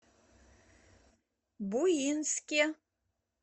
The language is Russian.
буинске